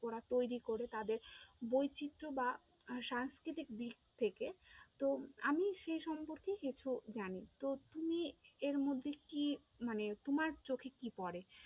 ওরা তৈরী করে তাদের বৈচিত্র্য বা সাংস্কৃতিক দিক থেকে, তো আমি সেই সম্পর্কে একটু জানি, তো তুমি এর মধ্যে কি? মানে তোমার চোখে কি পরে?